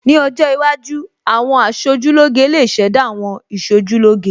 Ní ọjọ́ iwájú, àwọn aṣojúlóge lè ṣẹ̀dá àwọn Ìṣojúlóge